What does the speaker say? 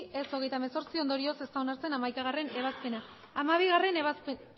ez hogeita hemezortzi ondorioz ez da onartzen hamaikagarrena ebazpena hamabigarrena ebazpena